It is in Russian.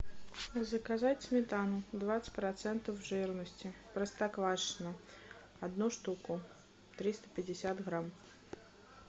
заказать сметану двадцать процентов жирности простоквашино одну штуку триста пятьдесят грамм